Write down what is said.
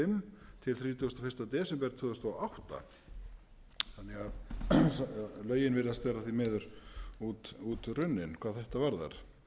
tvö þúsund og átta þannig að lögin virðast vera því miður útrunnin hvað þetta varðar